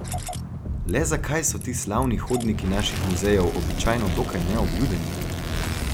Le zakaj so ti slavni hodniki naših muzejev običajno dokaj neobljudeni?